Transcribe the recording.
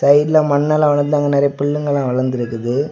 சைடுல மண்ணெல்லா வளந்து அங்க நிறைய பில்லுங்கெல்லா வளந்து இருக்குது.